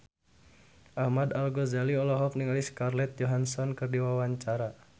Ahmad Al-Ghazali olohok ningali Scarlett Johansson keur diwawancara